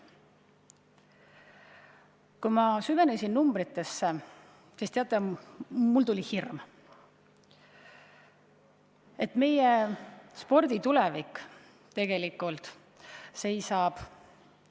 Kui ma süvenesin numbritesse, siis teate, mul tekkis hirm, et meie spordi tulevik tegelikult seisab ...